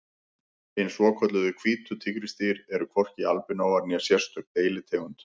Hin svokölluðu hvítu tígrisdýr eru hvorki albinóar né sérstök deilitegund.